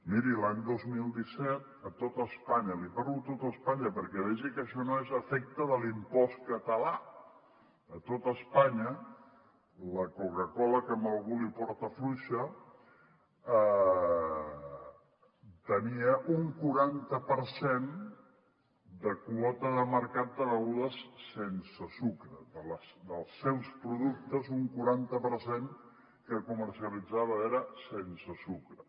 miri l’any dos mil disset a tot espanya li parlo de tot espanya perquè vegi que això no és efecte de l’impost català la coca cola que a algú l’hi porta fluixa tenia un quaranta per cent de quota de mercat de begudes sense sucre dels seus productes un quaranta per cent dels que comercialitzava eren sense sucre